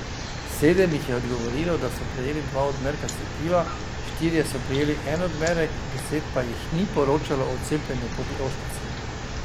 Sedem jih je odgovorilo, da so prejeli dva odmerka cepiva, štirje so prejeli en odmerek, deset pa jih ni poročalo o cepljenju proti ošpicam.